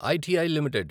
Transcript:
ITI limited